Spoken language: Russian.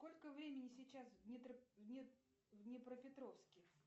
сколько времени сейчас в днепропетровске